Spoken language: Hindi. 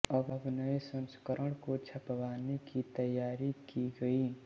अब नये संस्करण को छपवाने की तैयारी की गयी